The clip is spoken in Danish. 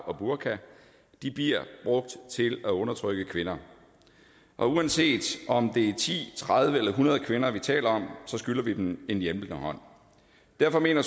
og burka bliver brugt til at undertrykke kvinder og uanset om det er ti tredive eller hundrede kvinder vi taler om så skylder vi dem en hjælpende hånd derfor mener